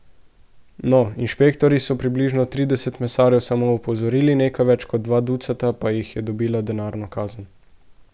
No, inšpektorji so približno trideset mesarjev samo opozorili, nekaj več kot dva ducata pa jih je dobila denarno kazen.